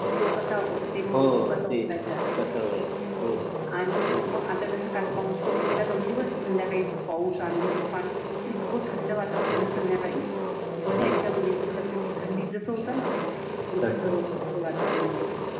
आणि मग आता जसं काल पाऊस पडून गेला दोन दिवस संध्याकाळी खूप पाऊस, आंधी, तूफान इतकी थंड वातावरण झालं संध्याकाळी बस एकदम बिलकुल असं की थंडी जसं होतं ना तसं वातावरण झालं.